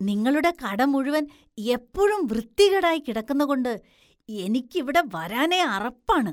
നിങ്ങളുടെ കട മുഴുവൻ എപ്പോഴും വൃത്തികേടായി കിടക്കുന്നകൊണ്ട് എനിക്ക് ഇവിടെ വരാനേ അറപ്പാണ്.